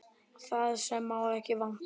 Það sem má ekki vanta!